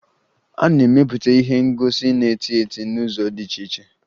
A na-emepụta ihe ngosi na tieta n'ụzọ dị iche iche